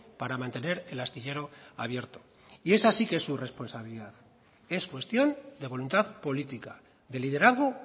para mantener el astillero abierto y esa sí que es su responsabilidad y es cuestión de voluntad política de liderazgo